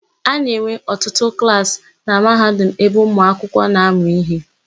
A na-enwe ọtụtụ klaasị na Mahadum ebe ụmụakwụkwọ na-amụ íhé.